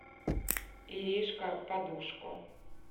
иришка подушко